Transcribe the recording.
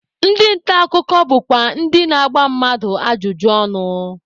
Ndị nta akụkọ bụkwa ndị na-agba mmadụ ajụjụ ọnụ.